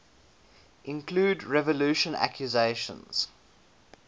include revulsion accusations